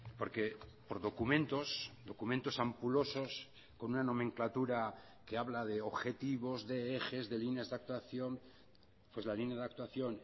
porque por documentos documentos ampulosos con una nomenclatura que habla de objetivos de ejes de líneas de actuación pues la línea de actuación